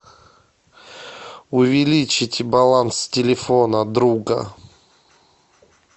увеличить баланс телефона друга